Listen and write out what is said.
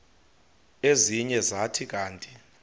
ezinye zathi kanti